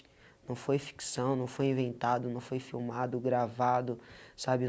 Não foi ficção, não foi inventado, não foi filmado, gravado, sabe?